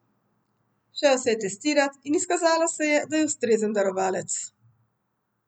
Šel se je testirat in izkazalo se je, da je ustrezen darovalec.